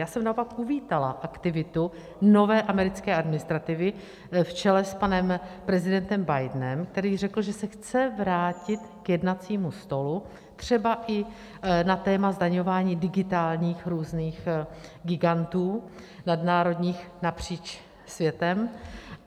Já jsem naopak uvítala aktivitu nové americké administrativy v čele s panem prezidentem Bidenem, který řekl, že se chce vrátit k jednacímu stolu třeba i na téma zdaňování digitálních různých gigantů nadnárodních napříč světem.